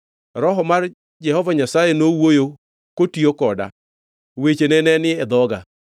Roho mar Jehova Nyasaye nowuoyo kotiyo koda, wechene ne ni e dhoga.